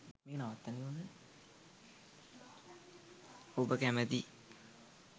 ඔබ කැමැති